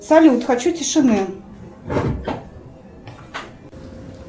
салют хочу тишины